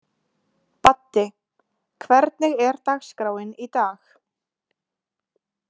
Baddi, hvernig er dagskráin í dag?